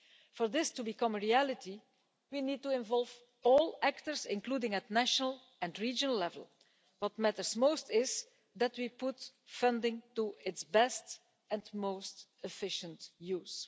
For this to become a reality, we need to involve all actors, including at national and regional level. What matters most is that we put funding to its best and most efficient use.